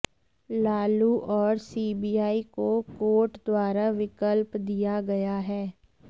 लालू और सीबीआई को कोर्ट द्वारा विकल्प दिया गया है